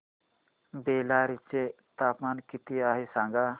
बेल्लारी चे तापमान किती आहे सांगा